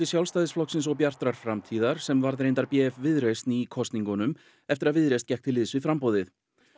Sjálfstæðisflokksins og Bjartrar framtíðar sem varð reyndar b f Viðreisn í kosningunum eftir að Viðreisn gekk til liðs við framboðið